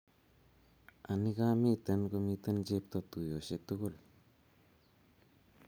anii, ka miten komiten chepto tuyoshe tugul